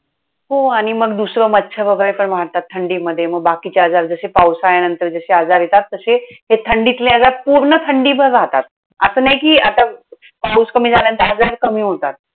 हो आणि मग दुसरं मच्छर वगैरे पण वाढतात आणि थंडीमध्ये मग बाकीचे आजार, जसे पावसाळ्यानंतर जसे आजार येतात. तसे ते थंडीतले आजार पूर्ण थंडीभर राहतात. असं नाही कि आता पाऊस कमी झाल्यानंतर आजार कमी होतात.